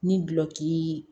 Ni gulɔki